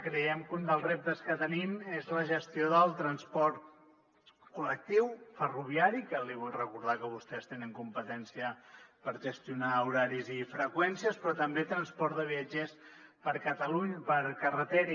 creiem que un dels reptes que tenim és la gestió del transport col·lectiu ferroviari que li vull recordar que vostès tenen competència per gestionar horaris i freqüències però també transport de viatgers per carretera